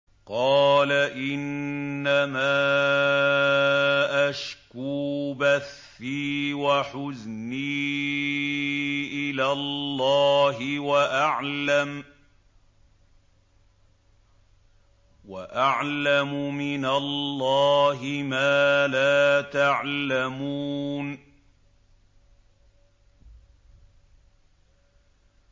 قَالَ إِنَّمَا أَشْكُو بَثِّي وَحُزْنِي إِلَى اللَّهِ وَأَعْلَمُ مِنَ اللَّهِ مَا لَا تَعْلَمُونَ